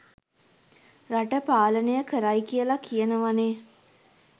රට පාලනය කරයි කියලා කියනවානේ.